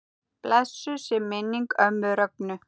Blessuð sé minning ömmu Rögnu.